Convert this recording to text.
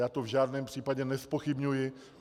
Já to v žádném případě nezpochybňuji.